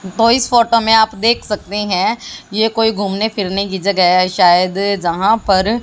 तो इस फोटो में आप देख सकते हैं ये कोई घूमने फिरने की जगह है शायद यहां पर--